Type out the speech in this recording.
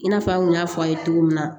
I n'a fɔ an kun y'a fɔ a' ye cogo min na